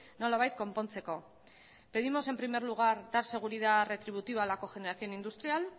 nolabait konpontzeko pedimos en primer lugar dar seguridad retributiva a la cogeneración industrial